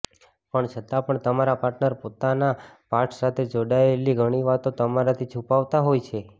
પણ છતાં પણ તમારો પાર્ટનર પોતાના પાસ્ટ સાથે જોડાયેલી ઘણી વાતો તમારાથી છુપાવતા હોય છે